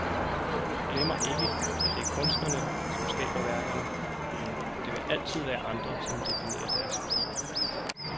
Jeg glemmer ikke, at det er kunstnerne, som skaber værkerne, men det vil altid være andre, som definerer deres værdi.